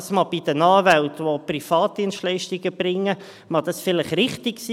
Das mag bei den Anwälten, die Privatdienstleistungen erbringen, vielleicht richtig sein.